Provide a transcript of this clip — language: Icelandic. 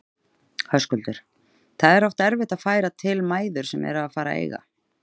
Höskuldur: Það er oft erfitt að færa til mæður sem eru að fara að eiga?